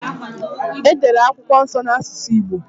E dere akwụkwọ nso n’asusụ Igbo